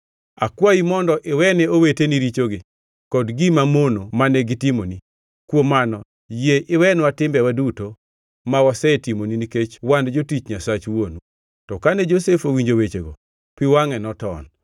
‘Akwayi mondo iwene owetegi richogi kod gima mono mane gitimoni.’ Kuom mano yie iwenwa timbewa duto ma wasetimoni nikech wan jotich Nyasach wuonu.” To kane Josef owinjo wechego, pi wangʼe noton.